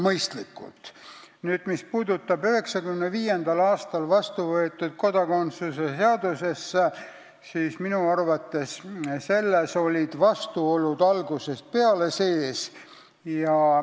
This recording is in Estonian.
Mis puudutab 1995. aastal vastu võetud kodakondsuse seadust, siis minu arvates olid selles algusest peale vastuolud sees.